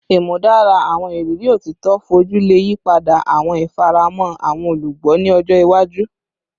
Imudara awọn iriri otito foju le yipada awọn ifaramọ awọn olugbo ni ọjọ iwaju